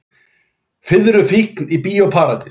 Fiðruð fíkn í Bíó Paradís